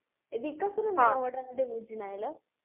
ବିକାଶର ନିୟମଟା ବୁଝି ନାହିଁ ଲୋ